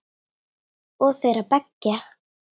Og þeirra beggja.